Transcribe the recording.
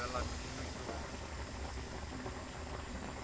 be ba lapišitšwe ke go